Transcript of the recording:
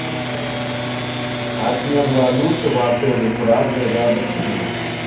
обмен валюты в отеле прага и рядом с ним